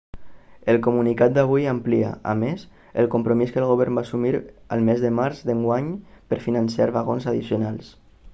el comunicat d'avui amplia a més el compromís que el govern va assumir el mes de març d'enguany per finançar vagons addicionals